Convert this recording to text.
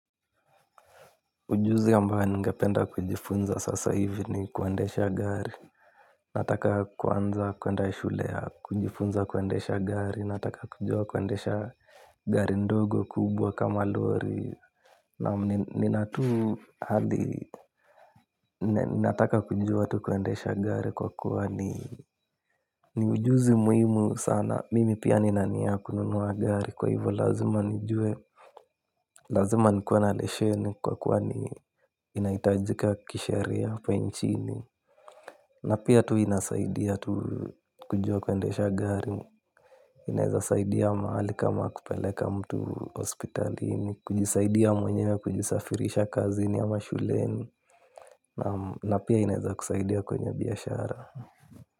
Ujuzi ambao ningependa kujifunza sasa hivi ni kuendesha gari. Nataka kuanza kuenda shule ya kujifunza kuendesha gari nataka kujua kuendesha gari ndogo kubwa kama lori. Na minatu hadi nataka kujua tu kuendesha gari kwa kuwa ni ni ujuzi muhimu sana mimi pia nina nia ya kununua gari kwa hivo lazima nijue. Lazima nikuwa na lesheni kwa kuwa ni inaitajika kisheria hapa nchini. Na pia tu inasaidia tu kujua kuendesha gari. Inaweza saidia mahali kama kupeleka mtu hospitalini. Kujisaidia mwenye kujisafirisha kazini ama shuleni. Na pia inaweza kusaidia kwenye biashara.